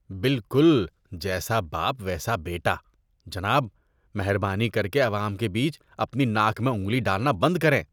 بالکل جیسا باپ، ویسا بیٹا۔ جناب، مہربانی کر کے عوام کے بیچ اپنی ناک میں انگلی ڈالنا بند کریں۔